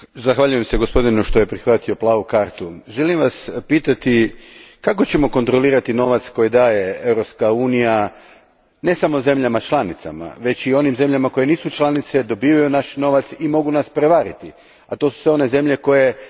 Želim Vas pitati, kako ćemo kontrolirati novac koji daje Europska unija ne samo zemljama članicama, već i onim zemljama koje nisu članice i dobivaju naš novac i mogu nas prevariti, a to su sve one zemlje koje tek žele postati članice i koje mi financiramo?